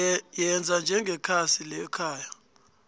yenza njengekhasi lekhaya